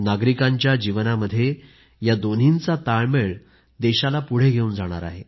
नागरिकांच्या जीवनामध्ये या दोन्हींचा ताळमेळ देशाला पुढे घेऊन जाणार आहे